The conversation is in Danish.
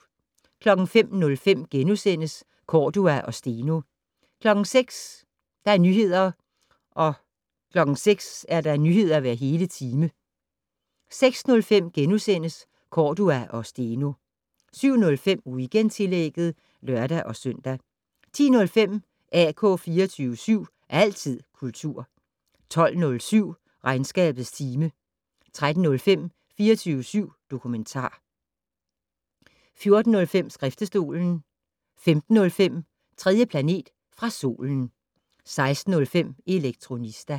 05:05: Cordua og Steno * 06:00: Nyheder hver hele time 06:05: Cordua og Steno * 07:05: Weekendtillægget (lør-søn) 10:05: AK 24syv. Altid kultur 12:07: Regnskabets time 13:05: 24syv dokumentar 14:05: Skriftestolen 15:05: 3. planet fra solen 16:05: Elektronista